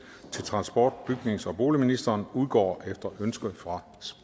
til transport bygnings og boligministeren udgår efter ønske fra